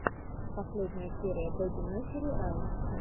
последняя серия бэби несери раймс